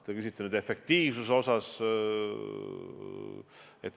Te küsite efektiivsuse kohta.